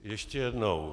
Ještě jednou.